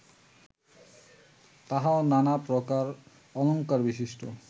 তাহাও নানাপ্রকার অলঙ্কারবিশিষ্ট